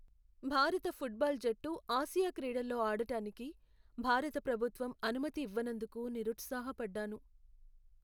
భారత ఫుట్బాల్ జట్టు ఆసియా క్రీడల్లో ఆడడానికి భారత ప్రభుత్వం అనుమతి ఇవ్వనందుకు నిరుత్సాహపడ్డాను.